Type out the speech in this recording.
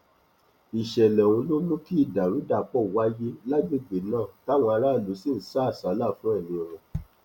ìṣẹlẹ ọhún ló mú kí ìdàrúdàpọ wáyé lágbègbè náà táwọn aráàlú sì ń sá àsálà fún ẹmí wọn